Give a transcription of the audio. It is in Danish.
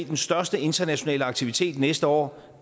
den største internationale aktivitet næste år